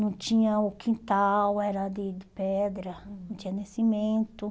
Não tinha o quintal, era de de pedra, não tinha nascimento.